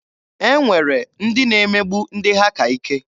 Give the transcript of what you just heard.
E nwere ndị na-emegbu ndị ha ka ike.